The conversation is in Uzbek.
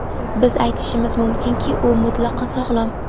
Biz aytishimiz mumkinki, u mutlaqo sog‘lom.